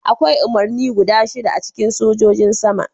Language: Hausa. Akwai umarni guda shida a cikin Sojan Sama.